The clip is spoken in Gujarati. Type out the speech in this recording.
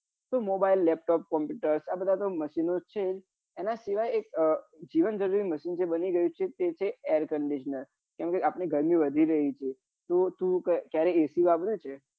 mobile laptop computer આ બધા machine ઓ છે એના સિવાય એક જીવન હજરૂરી machine બની ગયું છે તે air conditioner કેમ કે આપડી ગરમી વધી રહી છે તો તું ક્યારે ac વાપરે છે?